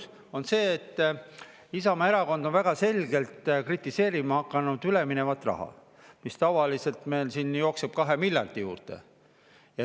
– on see, et Isamaa Erakond on väga selgelt kritiseerima hakanud üleminevat raha, mis tavaliselt meil siin 2 miljardi juurde.